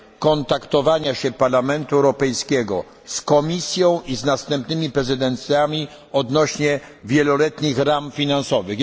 kontaktowania się Parlamentu Europejskiego z Komisją i z następnymi prezydencjami odnośnie wieloletnich ram finansowych.